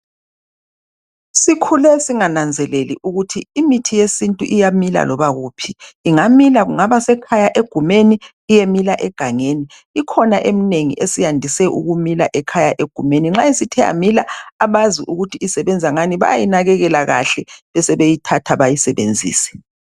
Sikhule singananzeleli ukuthi imithi yesintu iyamila loba kuphi ingamila kungabasekhaya egumeni iyemila egangeni, ikhona eminengi esiyandise ukumila ekhaya egumeni nxa sithe yamila abazi ukuthi isebenza ngani bayayinakekela kahle besebeyithatha bayisebenzise.